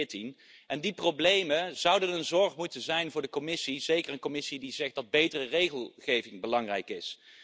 2014. Die problemen zouden een zorg moeten zijn voor de Commissie, zeker een Commissie die zegt dat betere regelgeving belangrijk is.